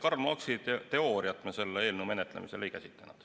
Karl Marxi teooriat me selle eelnõu menetlemisel ei käsitlenud.